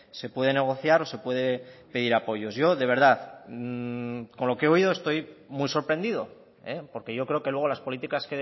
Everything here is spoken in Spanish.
se puede negociar o se puede pedir apoyos yo de verdad con lo que he oído estoy muy sorprendido porque yo creo que luego las políticas